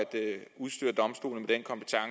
udstyre domstolene